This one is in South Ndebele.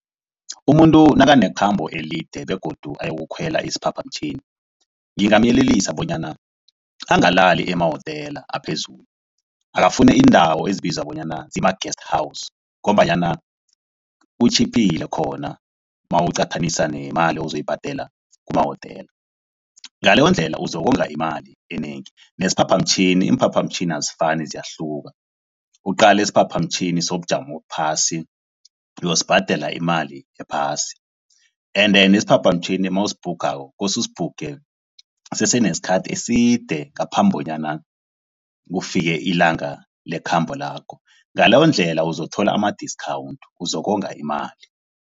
Umuntu nakanekhambo elide begodu ayokukhwela isiphaphamtjhini. Ngingamyelelisa bonyana angalaleli emawotela aphezulu, akafuni indawo ezibizwa bonyana zima-Guest House ngombanyana kutjhiphile khona nawuqathanise nemali ozoyibhadela kumawotela. Ngaleyondlela uzokonga imali enengi nesiphaphamtjhini, iimphaphamtjhini azifani ziyahluka. Uqale isiphaphamtjhini sobujamo obuphasi, uyosibhadela imali ephasi. Ende nesiphaphamtjhini mawusibhukhako kose usibhukhe kusesenesikhathi eside ngaphambi kobana kufike ilanga lekhambo lakho. Ngaleyondlela uzothola ama-discount uzokonga imali.